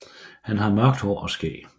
Han har mørkt hår og skæg